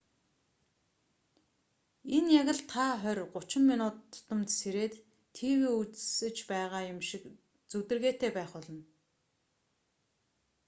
энэ яг л та хорь гучин минут тутамд сэрээд тв үзэж байгаа юм шиг зүдэргээтэй байх болно